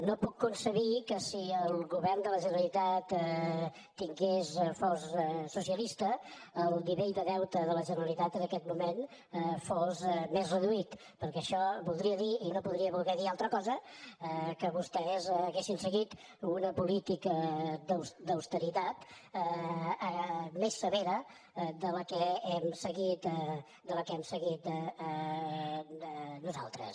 no puc concebre que si el govern de la generalitat fos socialista el nivell de deute de la generalitat en aquest moment fos més reduït perquè això voldria dir i no podria voler dir altra cosa que vostès haurien seguit una política d’austeritat més severa de la que hem seguit nosaltres